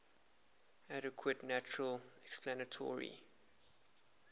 adequate natural explanatory